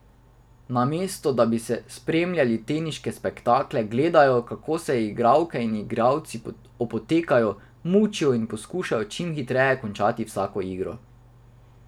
Namesto, da bi spremljali teniške spektakle, gledajo, kako se igralke in igralci opotekajo, mučijo in poskušajo čim hitreje končati vsako igro.